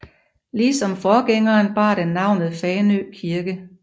Ligesom forgængeren bar den navnet Fanø Kirke